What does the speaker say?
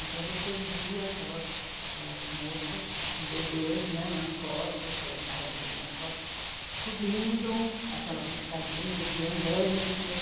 Então você via aquelas, aquelas moças com bebês né, nas costas, que elas carregam o bebê nas costas, subindo aquelas escadinhas de andaime com